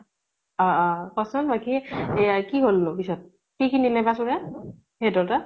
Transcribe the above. অ অ কʼচোন বাকী, এয়া কি হল নো পিছত? কি কি নিলে বা চুৰে? সিহঁতৰ তাত।